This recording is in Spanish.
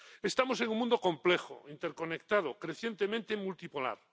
Estamos en un mundo complejo, interconectado, crecientemente multipolar.